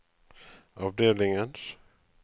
avdelingens